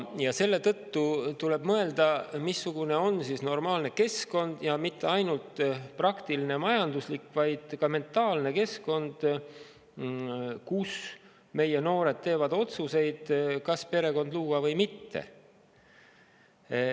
Ja seetõttu tuleb mõelda, missugune on siis normaalne keskkond ja mitte ainult praktiline, majanduslik, vaid ka mentaalne keskkond, kus meie noored teevad otsuseid, kas luua perekonda või mitte.